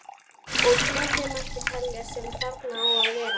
Og fleira mætti telja sem þarna á að verða.